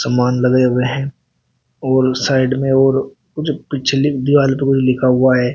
मोन लगाए हुए हैं और साइड में और जो पिछली दीवार पे कुछ लिखा हुआ है।